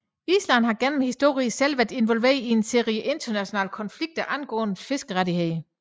Island har gennem historien selv været involveret i en serie internationale konflikter angående fiskerirettighederne